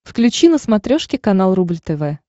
включи на смотрешке канал рубль тв